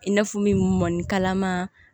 I n'a fɔ min mɔnikalama